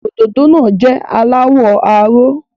Òdòdó náà jẹ́ aláwọ̀ aró.